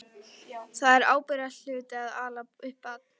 Það er ábyrgðarhluti að ala upp barn.